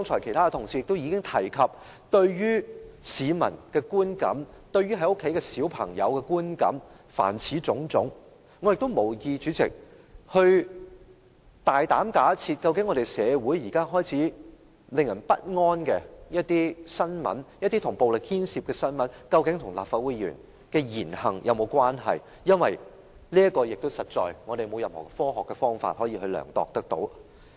其他同事剛才已提出有關市民的觀感、對孩子的影響等種種問題，我無意大膽假設社會現時開始出現的一些令人不安、牽涉暴力的新聞，究竟跟立法會議員的言行有沒有關係，因為這實在也沒有任何科學的方法可作量度。